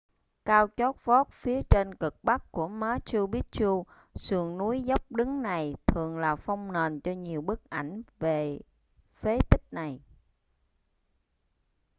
cao chót vót phía trên cực bắc của machu picchu sườn núi dốc đứng này thường là phông nền cho nhiều bức ảnh về phế tích này